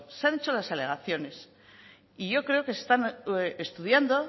se han hecho las alegaciones y yo creo que están estudiando